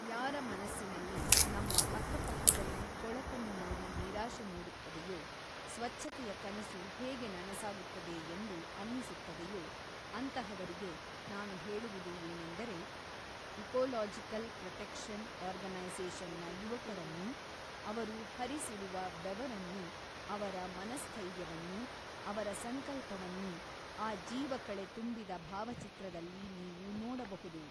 ಯಾರ ಮನಸ್ಸಿನಲ್ಲಿ ನಮ್ಮ ಅಕ್ಕ ಪಕ್ಕದಲ್ಲಿ ಕೊಳಕನ್ನು ನೋಡಿ ನಿರಾಶೆ ಮೂಡುತ್ತದೆಯೋ, ಸ್ವಚ್ಚತೆಯ ಕನಸು ಹೇಗೆ ನನಸಾಗುತ್ತದೆ ಎಂದು ಅನ್ನಿಸುತ್ತದೆಯೋ ಅಂತಹವರಿಗೆ ನಾನು ಹೇಳುವುದು ಏನೆಂದರೆ ಇಕೋಲೋಜಿಕಲ್ ಪ್ರೊಟೆಕ್ಷನ್ ಓರ್ಗನೈಸೇಷನ್ ನ ಯುವಕರನ್ನೂ, ಅವರು ಹರಿಸಿರುವ ಬೆವರನ್ನೂ, ಅವರ ಮನಸ್ಥೈರ್ಯವನ್ನೂ, ಅವರ ಸಂಕಲ್ಪವನ್ನೂ ಆ ಜೀವಕಳೆ ತುಂಬಿದ ಭಾವಚಿತ್ರದಲ್ಲಿ ನೀವು ನೋಡಬಹುದು.